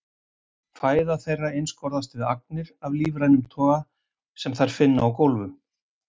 Fæða þeirra einskorðast við agnir af lífrænum toga sem þær finna á gólfum.